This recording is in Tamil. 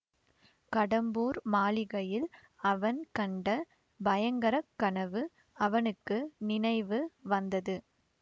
கடம்பூர் மாளிகையில் அவன் கண்ட பயங்கர கனவு அவனுக்கு நினைவு வந்தது